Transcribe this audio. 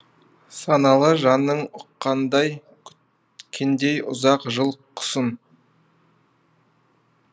саналы жаның ұққандай күткендей ұзақ жыл құсын